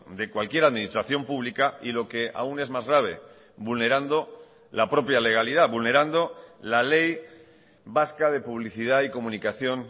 de cualquier administración pública y lo que aún es más grave vulnerando la propia legalidad vulnerando la ley vasca de publicidad y comunicación